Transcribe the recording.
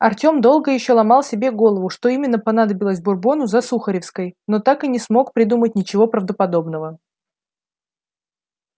артём долго ещё ломал себе голову что именно понадобилось бурбону за сухаревской но так и не смог придумать ничего правдоподобного